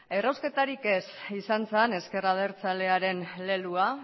errausketarik ez izan zen ezker abertzalearen leloa